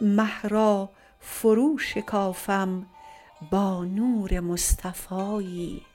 مه را فروشکافم با نور مصطفایی